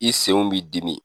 I senw b'i dimi.